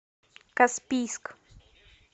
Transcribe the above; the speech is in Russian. каспийск